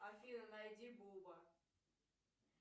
афина найди боба